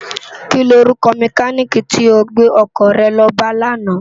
Kini órúkò mèkánikí tó gbé òkò re lò bá làná?